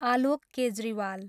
Alok Kejriwal